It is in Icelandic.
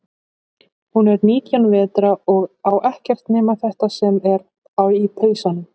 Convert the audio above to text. Hún er nítján vetra og á ekkert nema þetta sem er í pausanum.